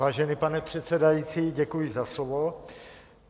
Vážený pane předsedající, děkuji za slovo.